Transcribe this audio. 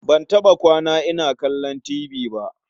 Ban taɓa kwana ina kallon tibi ba.